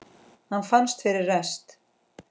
Hann fannst fyrir rest!